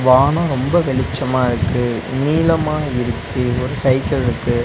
வானோ ரொம்ப வெளிச்சமாருக்கு நீளமா இருக்கு ஒரு சைக்கிள் இருக்கு.